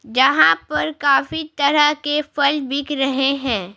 जहां पर काफी तरह के फल बिक रहे हैं।